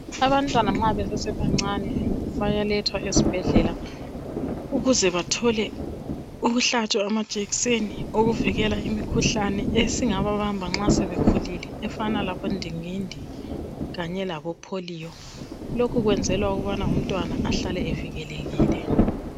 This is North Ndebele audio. Abantwana nxa besesebancane bayalethwa esibhedlela ukuze bathole ukuhlatshwa amajekiseni okuvikela imikhuhlane esingababamba nxa sebekhulilel efana labondingindi kanye laboPholiyo lokhu kwenzelwa ukubana umntwana ahlale evikelekile